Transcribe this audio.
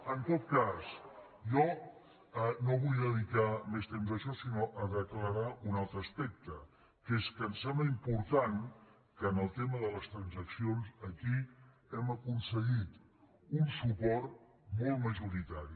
en tot cas jo no vull dedicar més temps a això sinó a declarar un altre aspecte que és que em sembla important que en el tema de les transaccions aquí hem aconseguit un suport molt majoritari